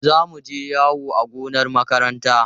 Za mu je yawo a gonar makaranta.